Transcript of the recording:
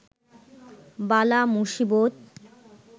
বালা মুসিবত